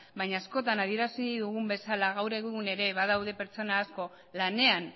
baina askotan adierazi dugun bezala gaur egun ere badaude pertsona asko lanean